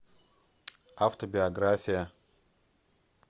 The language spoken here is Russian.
автобиография